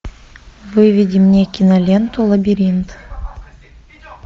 выведи мне киноленту лабиринт